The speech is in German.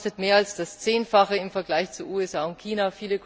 Er kostet mehr als das Zehnfache im Vergleich zu den USA und China.